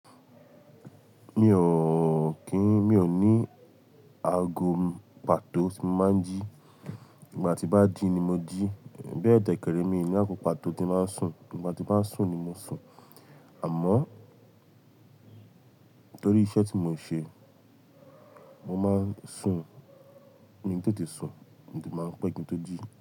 Mi ò kín, mi ò ní ago pa tó ti máa ń jí, ìgbà tí bá ji ni mo jí, bẹ́ẹ̀ dekere mi ni ago pató ti máa ń sùn, ìgbà tí bá sùn ni mo sùn, àmọ́ torí iṣẹ́ tí mo ń ṣe, mo máa ń sùn mi n tete sùn, mo ti máa n pẹ́, ki n to jí.